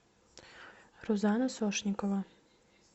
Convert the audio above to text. рузана сошникова